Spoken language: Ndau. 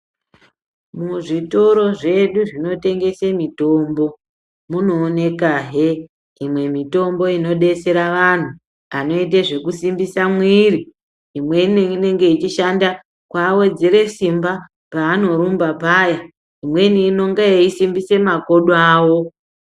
Muzvitoro zvedu zvinotengese mitombo munooneka hee imwe mitombo inodetsera vanthu anoite zvekusimbise mwiri imweni inenge yeishqnda kuawedzera simba paanorumba paya imweni inenge yeisimbisa makodo awo.